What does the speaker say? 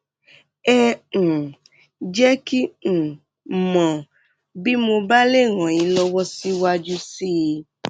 ẹ um jẹ kí um n mọ bí mo bá lè ràn yín lọwọ síwájú sí i